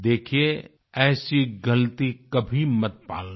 देखियेऐसी ग़लती कभी मत पालना